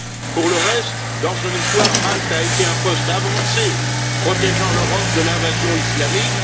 Pour le reste, dans son histoire, Malte a été un poste avancé protégeant l'Europe de l'invasion islamique.